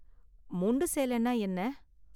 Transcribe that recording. முண்டு சேலைனா என்ன?